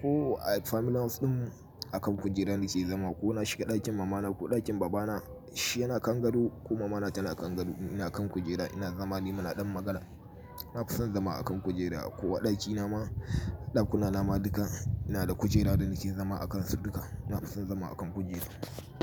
Ko a family house din a kan kujera nake zama ko na shiga dakin mama na ko dakin baba na, shi yana kan gado ko mama na tana kan gado ina kan kujera ina zama nimana dan magana. Ina fason zama a kan kujera ko a dakina ma, dakuna nama duka ina da kujera da nake zama a kansu duka. Ina fason zama a kan kujera.